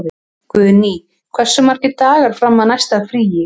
Guðný, hversu margir dagar fram að næsta fríi?